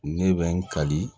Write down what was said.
Ne bɛ n kali